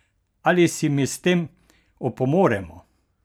Ali si mi s tem opomoremo?